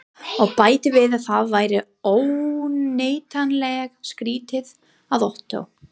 Og bætti við að það væri óneitanlega skrýtið, að Ottó